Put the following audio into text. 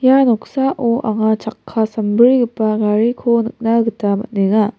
ia noksao anga chakka sambrigipa gariko nikna gita man·enga.